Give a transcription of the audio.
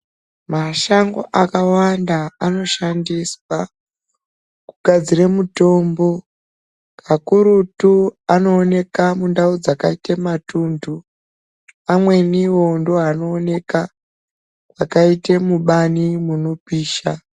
Mashango akawanda anoshandiswa kugadzira mutombo kakurutu anoonekwa mundau dzakaita matundu pamweniwo ndoanoonekwa yakaita mubani inopisha.